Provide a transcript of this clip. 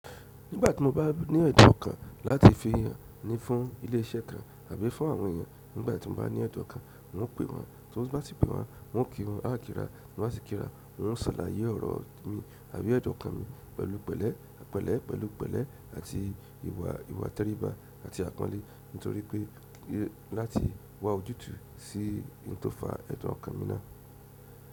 Nígbà tí mo bá ní ẹ̀tọ́ kan láti fún yàn ní fún ilé-iṣẹ́ kan àbí fún àwọn èèyàn nígbà tí mo bá ní ẹ̀tọ́ kan, un o pè won, tin bá si pè won, un o kí wọ́n, a kí ra, ta bá si kí ra, un o ṣàlàyé ọ̀rọ̀ mi àbí ẹ̀dun okan mi pẹ̀lú pẹ̀lẹ́, pẹ̀lú pẹ̀lẹ́ àti ìwà-- ìwà tẹríba àti apọnle nítorí pé láti wá ojútùú sí ohùn tó fà ẹ̀dun ọ́kan mi náà.